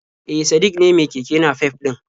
E, Sadik ne mai keke nafef ɗin